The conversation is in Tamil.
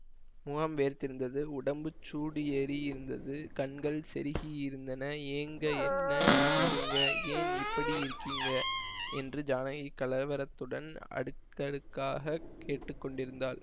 முகம் வேர்த்திருந்தது உடம்புச் சூடு ஏறியிருந்தது கண்கள் செருகியிருந்தன ஏங்க என்ன செய்யுதுங்க ஏன் இப்பிடி இருக்கிங்க என்று ஜானகி கலவரத்துடன் அடுக்கடுக்காகக் கேட்டு கொண்டிருந்தாள்